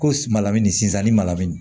Ko malamu sizani malanin